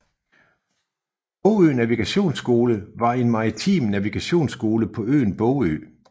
Bogø Navigationsskole var en maritim navigationsskole på øen Bogø